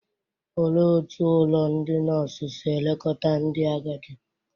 Olee otú ụlọ ndị nọọsụ si elekọta ndị agadi?